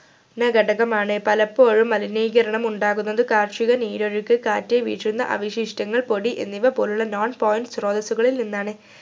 ന ഘടകമാണ് മലിനീകരണം പലപ്പോഴും ഉണ്ടാകുന്നത് കാർഷിക നീരൊഴുക്ക് കാറ്റ് വീശുന്ന അവശിഷ്ടങ്ങൾ പൊടി എന്നിവ പോലുള്ള non point ശ്രോതസ്സുകളിൽ നിന്നാണ്